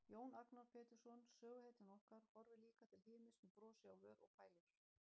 Jón Agnar Pétursson, söguhetjan okkar, horfir líka til himins með brosi á vör og pælir.